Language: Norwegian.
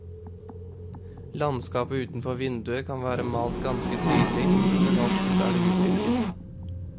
Landskapet utenfor vinduet kan være malt ganske tydelig, men oftest er det utvisket.